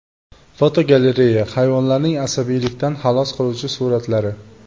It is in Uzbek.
Fotogalereya: Hayvonlarning asabiylikdan xalos qiluvchi suratlari.